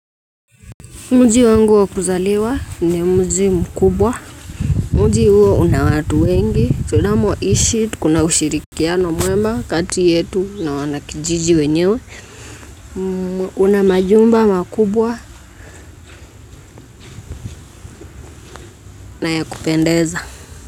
Muji wangu wa kuzaliwa ni muji mkubwa. Muji uo una watu wengi. Tudamo ishi kuna ushirikiano mwema kati yetu na wanakijiji wenyewe. Una majumba makubwa, na ya kupendeza.